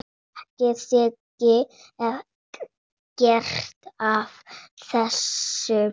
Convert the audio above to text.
Ég þekki ekkert af þessu.